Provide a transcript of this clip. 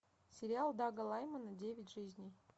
сериал дага лаймона девять жизней